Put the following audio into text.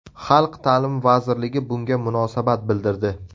Xalq ta’limi vazirligi bunga munosabat bildirdi.